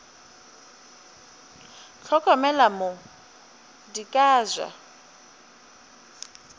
hlokomele mo di ka ja